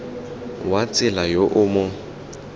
wa tsela yo o mo